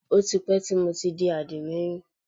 Ó ti pẹ́ tí mo ti di àdìmẹ́yìn